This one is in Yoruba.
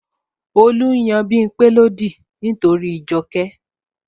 Olu n yan Bimpe lódì nítorí Joke